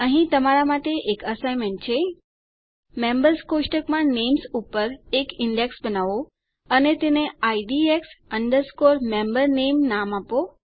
અહીં તમારા માટે એક અસાઇનમેન્ટ છે મેમ્બર્સ કોષ્ટકમાં નેમ્સ ઉપર એક ઈન્ડેક્સ બનાવો અને તેને IDX MemberName નામ આપો